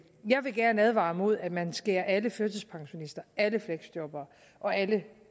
advare mod at man skærer alle førtidspensionister alle fleksjobbere og alle